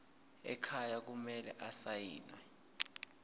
ekhaya kumele asayiniwe